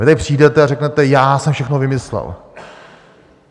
Vy tady přijdete a říkáte: Já jsem všechno vymyslel.